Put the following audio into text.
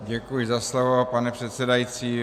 Děkuji za slovo, pane předsedající.